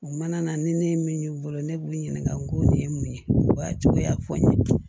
U mana na ni ne ye min y'u bolo ne b'u ɲininka n ko nin ye mun ye o y'a cogoya fɔ n ye